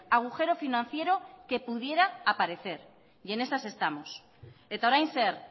agujero financiero que pudiera aparecer y en esas estamos eta orain zer